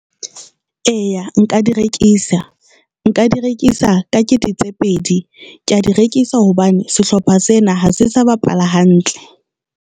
Eya, nka di rekisa, nka di rekisa ka kete tse pedi, ke ya di rekisa hobane sehlopha sena ha se sa bapala hantle.